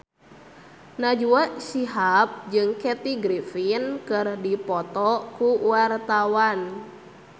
Najwa Shihab jeung Kathy Griffin keur dipoto ku wartawan